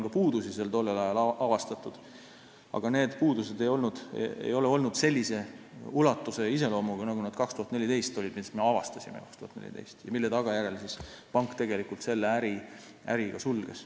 Ka tol ajal avastati seal puudusi, aga need ei olnud sellise ulatuse ja iseloomuga, nagu need, mis me avastasime 2014. aastal ja mille tagajärjel pank lõpuks selle äri sulges.